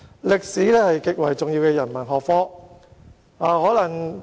歷史是極為重要的人文學科。